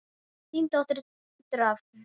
Þín dóttir Dröfn.